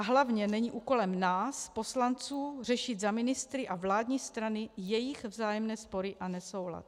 A hlavně není úkolem nás poslanců řešit za ministry a vládní strany jejich vzájemné spory a nesoulad.